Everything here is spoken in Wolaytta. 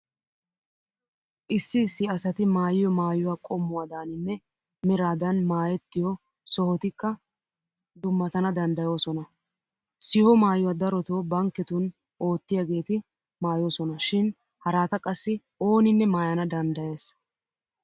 Issi issi asati maayiyo maayuwa qommuwadaaninne meraadan maayettiyo sohotikka dummatana danddayoosona. Siho maayuwa darotoo bankketun oottiyageeti maayoosona shin harata qassi ooninne maayana danddayees.